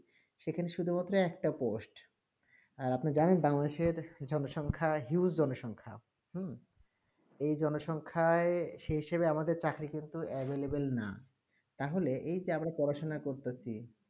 সেখানে শুধু মাত্র একটা post আপনি জানেন বাংলাদেশে জনসখ্যা huge জনসংখ্যা হম এই জনসখায়ে শেষে যে আমাদের চাকরি কিন্তু available না তা হলে এ তে আমরা পড়া সোনা করতেছি